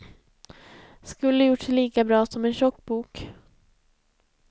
Skulle gjort sig lika bra som en tjock bok.